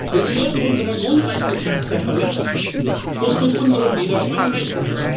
Wer die Werte unserer Grundrechtecharta verletzt, muss mit unserem Widerstand rechnen.